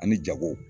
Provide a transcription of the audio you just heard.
Ani jago